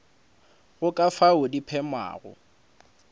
go ka fao di phemago